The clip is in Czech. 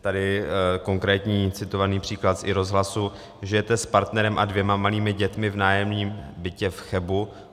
Tady konkrétní citovaný příklad z i-rozhlasu: Žijete s partnerem a dvěma malými dětmi v nájemním bytě v Chebu.